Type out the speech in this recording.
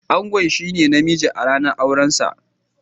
Angon shine na mijin a ranan auren sa.